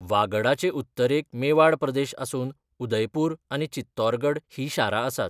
वागडाचे उत्तरेक मेवाड प्रदेश आसून उदयपूर आनी चित्तौरगड हीं शारां आसात.